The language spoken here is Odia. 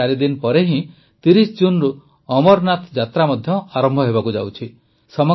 ଏବେ ଚାରିଦିନ ପରେ ହିଁ ୩୦ ଜୁନରୁ ଅମରନାଥ ଯାତ୍ରା ମଧ୍ୟ ଆରମ୍ଭ ହେବାକୁ ଯାଉଛି